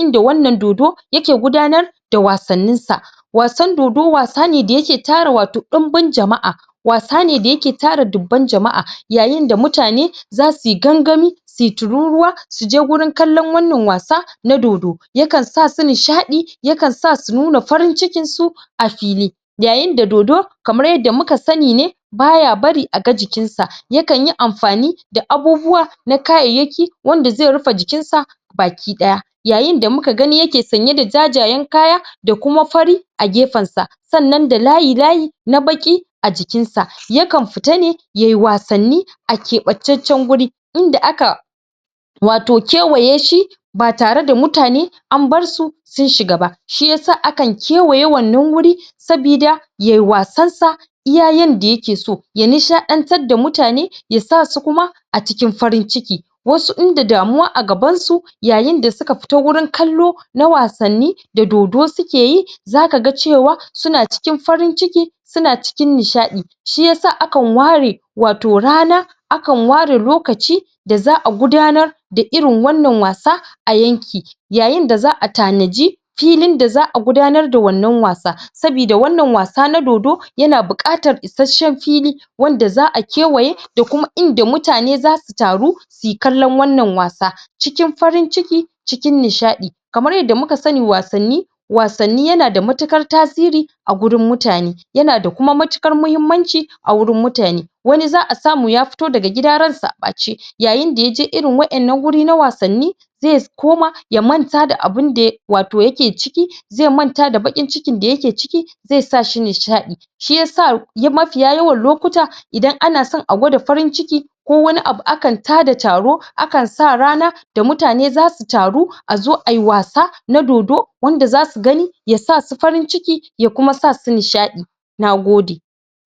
inda wannan dodo yake gudanar da wasanninsa wasan dodo wasa ne da yake tara wato dimbin jama'a, wasa ne da yake tara dubban jama'a yayin da mutane zasu yi gangami su yi tururuwa su je gurin kallon wannan wasa na dodo kan sa su nishadi, ya kan sa su nuna farin cikinsu a fili, yayin da dodo kamar yadda mu ka sani ne, baya bari a ga jikinsa, ya kanyi amfani da abubuwa na kayayyaki wanda zai rufe jikinsa bakidaya Yayin da muka gani yake sanye da jajayen kaya da kuma fari a gefensa, sannan da layi-layi na baki a jikinsa, ya kan fita ne yayi wasanni a kebancanncen waje inda aka - wato kewaye shi ba tare da mutane an bar su sun shiga ba, shi yasa akan kewaye wannan guri saboda yayi wasansa iya yanda yake so, ya nishadantar da mutane ya sa su kuma a cikin farin ciki. Wasu idan da damuwa a gabansu yayin da suka fito gurin kallo na wasanni da dodo suke yi zaka ga cewa, suna cikin farin ciki, suna cikin nishadi shi yasa akan ware wato rana, akan ware lokaci da za'a gudanar da irin wannan wasa, a yanki. yayin da za'a tanadi filin da za'a gudanar da wannan wasa saboda wannan wasa na dodo yana bukatar isasshen fili wanda za'a kewaye da kuma inda mutane zasu taru suyi kallon wannan wasa cikin farin ciki, cikin nishadi, kamar yadda muka sani wasanni- wasanni yana da mutukar tasiri a gurin mutane, yana da kuma mutukar muhimmanci a gurin mutane, wani za'a samu ya fito daga gida ransa a bace yayin da yaje irin wadannan guri na wasanni zai koma ya manta da abinda yake wato yake ciki zai manta da bakin cikin da yake ciki zai sa shi nishadi, shi yasa mafiya yawan lokuta idan ana son a gwada farin ciki ko wani abu akan ta da taro akan sa rana da mutane zasu taru a zo ayi wasa na dodo wanda zasu gani yasa su farin ciki ya kuma sa su nishadi. Nagode.